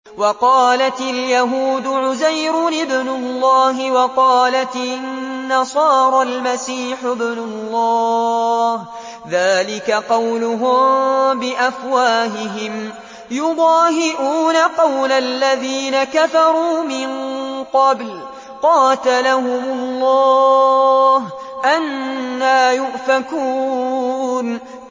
وَقَالَتِ الْيَهُودُ عُزَيْرٌ ابْنُ اللَّهِ وَقَالَتِ النَّصَارَى الْمَسِيحُ ابْنُ اللَّهِ ۖ ذَٰلِكَ قَوْلُهُم بِأَفْوَاهِهِمْ ۖ يُضَاهِئُونَ قَوْلَ الَّذِينَ كَفَرُوا مِن قَبْلُ ۚ قَاتَلَهُمُ اللَّهُ ۚ أَنَّىٰ يُؤْفَكُونَ